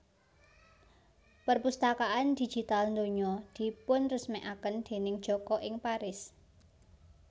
Perpustakaan Digital Donya dipunresmèkaken déning Joko ing Paris